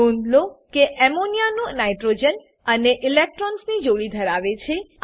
નોંધ લો કે અમોનિયા નું નાઇટ્રોજન હવે ઈલેક્ટ્રોન્સની જોડી ધરાવે છે